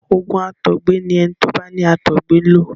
Òògùn àtọgbẹ ni ẹni tó bá ní àtọgbẹ ń lo.